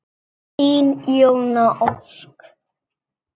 Þín Jóna Ósk.